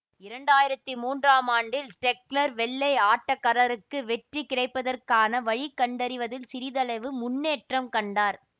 இரண்டு ஆயிரத்தி மூன்றாம் ஆண்டில் சிடெக்னர் வெள்ளை ஆட்டக்கரருக்கு வெற்றி கிடைப்பதற்க்கான வழி கண்டறிவதில் சிறிதளவு முன்னேற்றம் கண்டார்